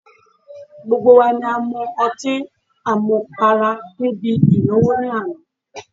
Gbogbo wa ni a mu ọtí à mu para níbi ìnáwó ní àná